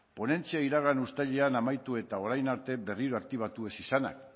ponentzia iragan uztailean amaitu eta orain arte berriro aktibatu ez izanak